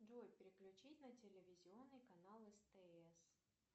джой переключить на телевизионный канал стс